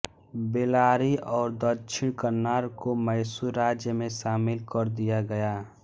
बेलारी और दक्षिण कन्नार को मैसूर राज्य में शामिल कर दिया गया